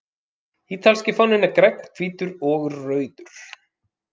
Ítalski fáninn er grænn, hvítur og rauður.